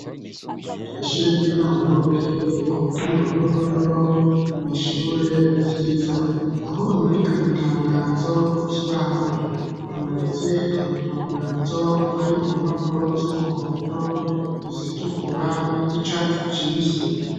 Ishure ry'intango riherereye ku mutumba wa Ruhororo, ni ishure ryiza. Aho bamanika amatangazo ku kibaho hamanitse amatangazo ari ku mpapuro z'umuhondo, izitukura, iz'icatsi kibisi.